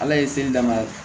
Ala ye seli dama